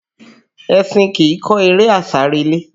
Ẹṣin kìí kọ eré àsárelé